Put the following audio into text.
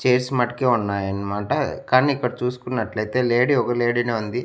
Chairs మట్టుకే ఉన్నాయి అన్నమాట కాని ఇక్కడ చూసుకునట్లు అయితే లేడీ ఒక లేడీ నే ఉంది.